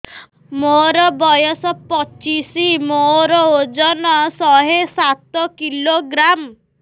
ମୋର ବୟସ ପଚିଶି ମୋର ଓଜନ ଶହେ ସାତ କିଲୋଗ୍ରାମ